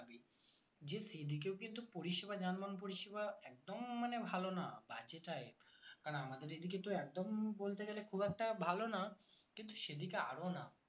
যে সেদিকেও কিন্তু পরিষেবা যানবাহন পরিষেবা একদম মানে ভালো না বাজে তাই কারণ আমাদের এইদিকে তো একদম বলতে গেলে খুব একটা ভালো না কিন্তু সেদিকে আরো না